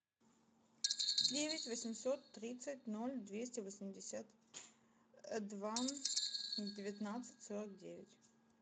девять восемьсот тридцать ноль двести восемьдесят два девятнадцать сорок девять